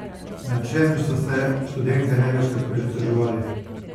Nad čem so se študentje največkrat pritoževali?